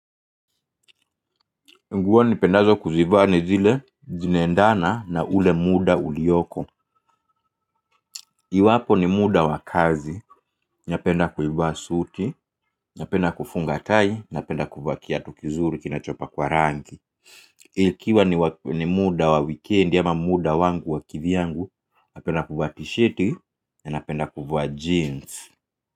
Nguo nipendazo kuzivaa ni zile zinaendana na ule muda ulioko iwapo ni muda wa kazi, napenda kuivaa suti, napenda kufunga tai, napenda kuvaa kiatu kizuri kinachopakwa rangi ikiwa ni muda wa wikendi ama muda wangu wa kivyangu, napenda kuvaa tisheti, na napenda kuvaa jeans.